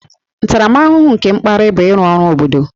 Ntaramahụhụ nke mkparị bụ ịrụ ọrụ obodo